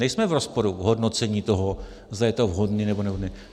Nejsme v rozporu v hodnocení toho, zda je to vhodné, nebo nevhodné.